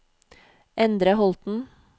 Endre Holten